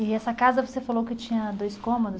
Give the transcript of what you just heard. E essa casa você falou que tinha dois cômodos?